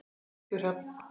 Þinn Tryggvi Hrafn.